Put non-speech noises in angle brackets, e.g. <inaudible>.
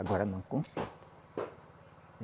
Agora não <unintelligible>